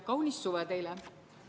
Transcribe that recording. Kaunist suve teile!